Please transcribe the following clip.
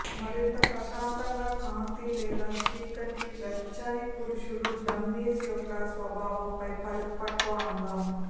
మరింత ప్రశాంతంగా కాంతి లేదా చీకటి వెచ్చని పురుషుడు డమ్మీస్ యొక్క స్వభావంపై పరిపక్వ అందం